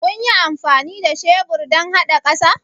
Kunyi amfani da shebur dan hada ƙasa?